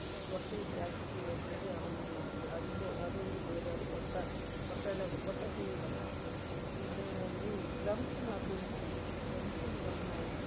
കോട്ടയിട്ടാക്കീട്ട് വരണത് അത് ഒരു നാത്ത് അതിൻറെ അത് ഒരു പേര് അത് കൊട്ട കൊട്ടലപ്പൊ കൊട്ട tea പറയും അതേ മാതിരി clumps നാത്ത് ന്ന് പറയും clumps ന്ന് പറഞ്ഞാ